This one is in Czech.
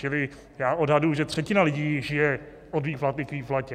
Čili já odhaduji, že třetina lidí žije od výplaty k výplatě.